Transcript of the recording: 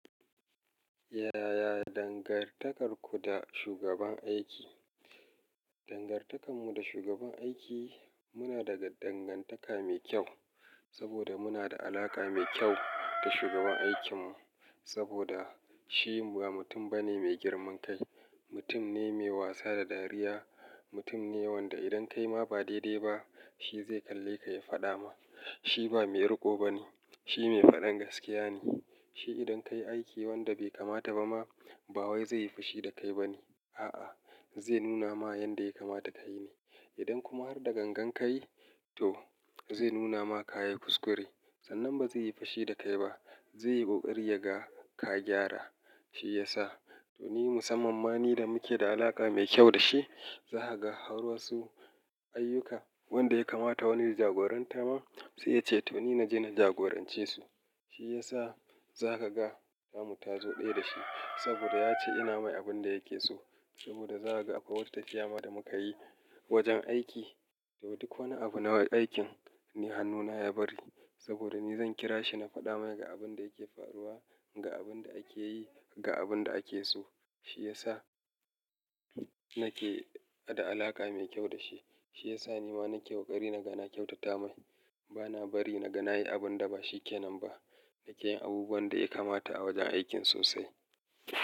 Yaya dangantakarku da shugaban aiki? Dangantakar muda shugaban aiki muna daga -dangantaka mai kyau saboda muna da alaƙa mai kyau da shugaban aikin mu. Saboda. Shi ba mutum bane mai girman kai, mutum ne mai wasa da dariya, mutum ne wanda idan kai ma ba dai-dai ba shi zai kalle ka ya faɗa ma. Shi ba mai riƙo bane, shi mai faɗan gaskiya ne. Shi idan ka yi aiki wanda bai kamata ba ma ba wai zai yi fashi da kai ba ne. A'a, zai nuna ma yanda ya kamata ka yi ne. Idan kuma har da gangan ka yi, to zai nuna maka ya kuskure. Sannan ba zai yi fushi da kai ba, zai yi ƙoƙari yaga ka gyara. Shi yasa to ni musamman mani da muke da alaƙa mai kyau da shi, za ka ga a haurorsu ayyuka wanda ya kamata wani ya jagoranta ma sai yace to nina je na jagorance su. Shi ya sa za ka ga Tamu ta zo ɗaya da shi saboda ya ce ina mai abun da yake so. Saboda zaka ga tafiya ma da muka yi wajen aiki to duk wani abu na aikin ni hannuna ya bari saboda ni zan kira shi na faɗa mai ga abun da yake faruwa, ga abun da ake yi, ga abun da ake so. Shi ya sa nake da alaƙa mai kyau da shi. Shiyasa nima nake ƙoƙari na ga na kyautata mai. Ba na bari na ga na yi abun da ba shi ke nan ba. Na ke yin abubuwan daya kamata a wajen aikin sosai.